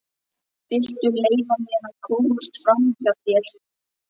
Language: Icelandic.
Viltu leyfa mér að komast framhjá þér!